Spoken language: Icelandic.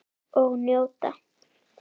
Og njóta.